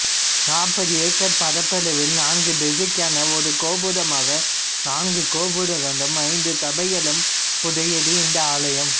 நாற்பது ஏக்கர் பரப்பளவில் நான்கு திசைக்கென ஒரு கோபுரமாக நான்கு கோபுரங்களும் ஐந்து சபைகளும் உடையது இந்த ஆலயம்